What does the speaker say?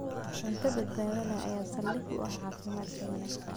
Cunto badbaado leh ayaa saldhig u ah caafimaadka wanaagsan.